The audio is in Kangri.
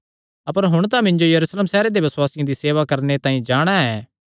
अपर हुण तां मिन्जो यरूशलेम सैहरे दे बसुआसियां दी सेवा करणे तांई जाणा ऐ